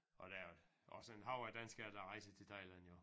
Og der er også en hav af danskere der rejser til Thailand jo